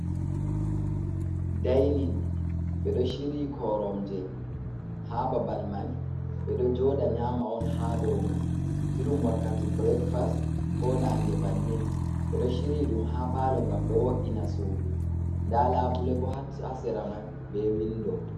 Dainin ɓeɗo shiryi koromje ha babal man ɓeɗo joɗa nyama on ha dow man, irum wakkati breakfast, ko nange bannin, ɓeɗo shiryi ɗum ha palo ngam ɗo wo’ina sudu, nda labule bo hasera man be windo.